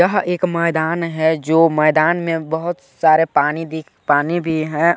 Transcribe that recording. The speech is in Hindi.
यह एक मैदान है जो मैदान में बहुत सारे पानी दिख पानी भी हैं।